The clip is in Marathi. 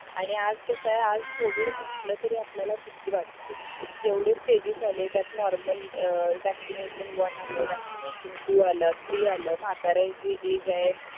आणि आज कसाय आज covid म्हंटलं तरी आपल्याला भीती वाटते एवढे स्टेजेस आले त्यात नॉर्मल अं वॅक्सीनशन वन आलं वॅक्सीनशन टू आलं तरी आलं म्हातारे जे एज आहे